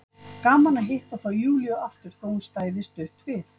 Gaman að hitta þá Júlíu aftur, þótt hún stæði stutt við.